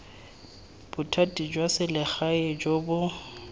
bothati jwa selegae jo bo